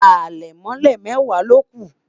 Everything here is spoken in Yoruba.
alemole mẹwa loku